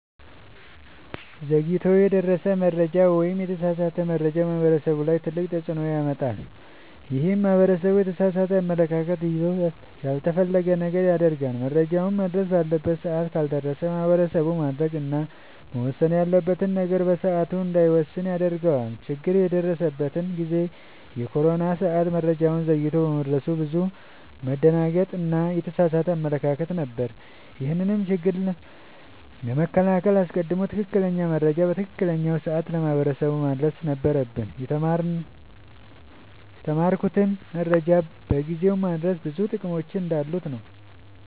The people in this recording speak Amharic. ዘግይቶ የደረሰ መረጃ ወይም የተሳሳተ መረጃ ማህበረሰቡ ላይ ትልቅ ተፅዕኖ ያመጣል። ይህም ማህበረሰቡ የተሳሳተ አመለካከት ይዞ ያልተፈለገ ነገር ያደርጋል። መረጃውም መድረስ ባለበት ሰዓት ካልደረሰ ማህበረሰቡ ማድረግ እና መወሰን ያለበትን ነገር በሰዓቱ እንዳይወስን ያደርገዋል። ችግር የደረሰበት ጊዜ የኮሮና ሰዓት መረጃው ዘግይቶ በመድረሱ ብዙ መደናገጥ እና የተሳሳተ አመለካከት ነበር። ይህንንም ችግር ለመከላከል አስቀድሞ ትክክለኛ መረጃ በትክክለኛው ሰዓት ለማህበረሰቡ ማድረስ ነበረብን። የተማርኩትም መረጃን በጊዜው ማድረስ ብዙ ጥቅሞች እንዳሉት ነወ።